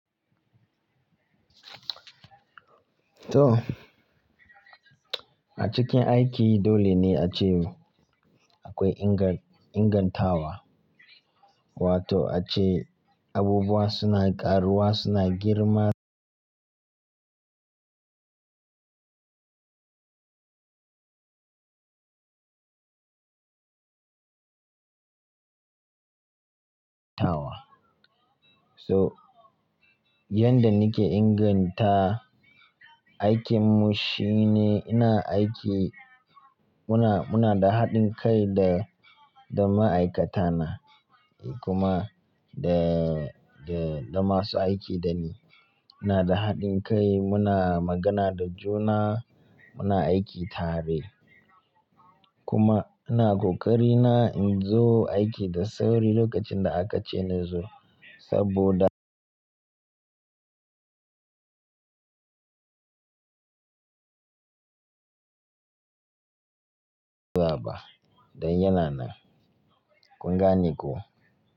To, a cikin aiki dole ne a ce akwai ingan-ingantawa, wato a ce abubuwa suna ƙaruwa, suna girma tawa. So, yanda nake inganta aikinmu shine ina aiki muna, muna da haɗin kai da, da ma'aikatana kuma da, da, da masu aiki da ni. Muna da haɗin kai, muna magana da juna, muna aiki tare. Kuma ina ƙoƙari na in zo aiki da sauri lokacin da aka ce na zo saboda dan yana nan. Kun gane ko?